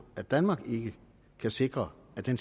at danmark ikke kan sikre at den